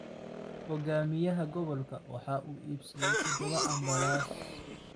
Hogaamiyaha gobolka waxa uu iibsaday todoba ambalaas.